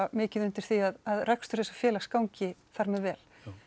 mikið undir því að rekstur þessa félags gangi þar með vel